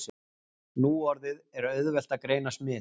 Nú orðið er auðvelt að greina smit.